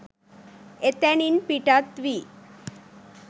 එතැනින් පිටත් වී